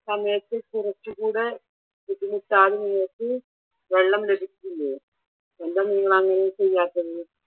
സമയത്ത് കുറച്ചുകൂടെ ബുദ്ധിമുട്ടാകുന്ന വിധത്തിൽ വെള്ളം ലഭിക്കില്ലേ? എന്താ നിങ്ങൾ അങ്ങനെ ചെയ്യാത്തത്?